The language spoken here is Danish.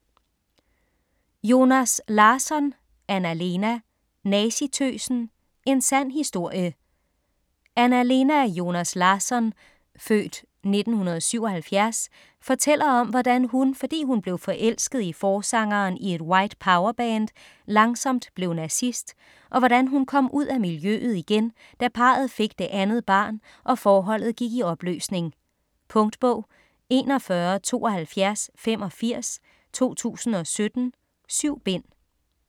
Joners Larsson, Anna-Lena: Nazitøsen: en sand historie Anna-Lena Joners Larsson (f. 1977) fortæller om hvordan hun, fordi hun blev forelsket i forsangeren i et White Power-band, langsomt blev nazist, og hvordan hun kom ud af miljøet igen, da parret fik det andet barn og forholdet gik i opløsning. Punktbog 417285 2017. 7 bind.